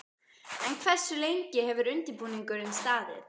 En hversu lengi hefur undirbúningurinn staðið?